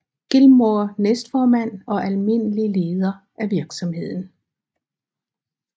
Gilmore næstformand og almindelig leder af virksomheden